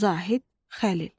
Zahid Xəlil.